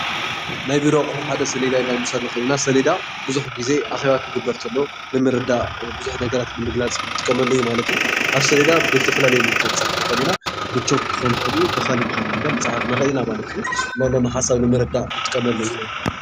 ናይ ቢሮ ኣቕሑ ሓደ ሰሌዳ ኢልና ክንፅውዕ ንኽእል ኢና፡፡ ሰሌዳ ብዙሕ ጊዜ ኣኼባ ክግበር ተሎ ንምርዳእ ብዙሕ ነገራት ንምግላፅ ንጥቀመሉ እዩ ማለት እዩ፡፡ ኣብ ሰሌዳ ብዝተፈላለዩ ነገራት ክንፅሕፍ ንኽእል ኢና ብቾክ ክኸውን ይኽእል እዩ ብኻሊእ ብኻሊእ ክንፅሕፍ ንኽእል ኢና ማለት እዩ፡፡ ዘለው ሓሳብ ንምርዳእ ንጥቀመሉ እዩ፡፡